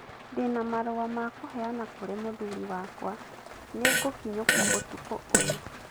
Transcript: Ndĩ na marũa ma kũheana kũrĩ mũthuri wakwa. Nĩ ngũkinyũkia ũtukũ ũyũ.